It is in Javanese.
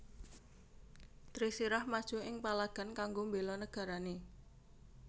Trisirah maju ing palagan kanggo mbéla nagarané